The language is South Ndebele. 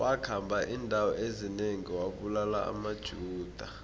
wakhamba indawo ezinengi abulala amajuda